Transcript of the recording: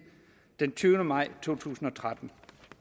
den tyvende maj to tusind og tretten